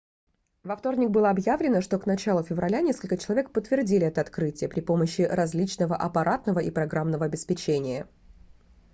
во вторник было объявлено что к началу февраля несколько человек подтвердили это открытие при помощи различного аппаратного и программного обеспечения